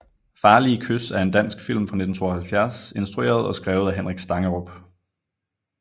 Farlige kys er en dansk film fra 1972 instrueret og skrevet af Henrik Stangerup